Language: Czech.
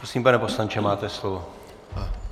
Prosím, pane poslanče, máte slovo.